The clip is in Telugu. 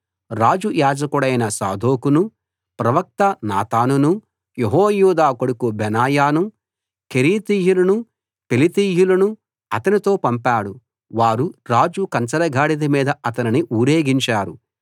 రాజు యాజకుడైన సాదోకునూ ప్రవక్త నాతానునూ యెహోయాదా కొడుకు బెనాయానూ కెరేతీయులనూ పెలేతీయులనూ అతనితో పంపాడు వారు రాజు కంచరగాడిద మీద అతనిని ఊరేగించారు